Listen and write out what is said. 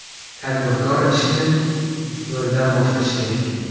Tadbirkor ishni ‘nol’dan boshlashi kerak.